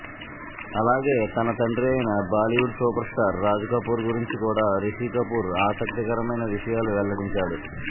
అలాగే తన తండ్రి అయిన బాలీవుడ్ సూపర్స్టార్ రాజ్ కపూర్ గురించి కూడా రిషీ కపూర్ ఆసక్తికరమైన విషయాలు వెల్లడించాడు